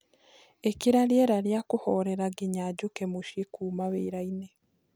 ĩkĩra rĩera ria kuhorera nginya njuke mũcĩĩ kũũma wiraini